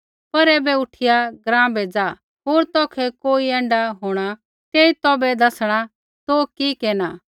पर ऐबै उठिया ग्राँ बै ज़ा होर तौखै कोई ऐण्ढा होंणा तेई तौभै दैसणा तौ कि केरना